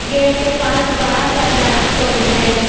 Gate के पास बड़ा सा दरक्त भी है।